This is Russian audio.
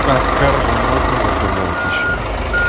а скар же можно заказать ещё